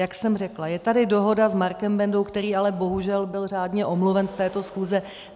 Jak jsem řekla, je tady dohoda s Markem Bendou, který ale bohužel byl řádně omluven z této schůze.